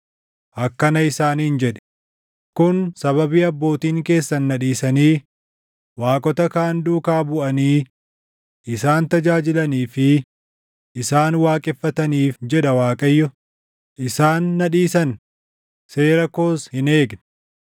akkana isaaniin jedhi; ‘Kun sababii abbootiin keessan na dhiisanii waaqota kaan duukaa buʼanii isaan tajaajilanii fi isaan waaqeffataniif’ jedha Waaqayyo; ‘isaan na dhiisan; seera koos hin eegne.